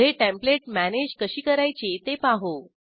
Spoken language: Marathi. पुढे टेंप्लेट मॅनेज कशी करायची ते पाहू